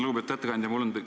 Lugupeetud ettekandja!